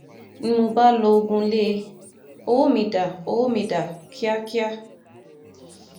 ni mo bá lọgun lé e ọwọ́ mi dá owó mi dá kíákíá